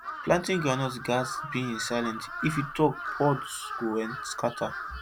planting groundnut gats be in silence if you talk pods go scatter